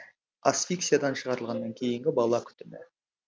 асфиксиядан шығарылғаннан кейінгі бала күтімі